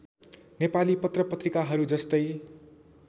नेपाली पत्रपत्रिकाहरू जस्तै